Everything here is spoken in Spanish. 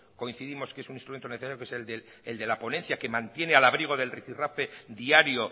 coincidimos que es un instrumento necesario que es el de la ponencia que mantiene al abrigo del rifi rafe diario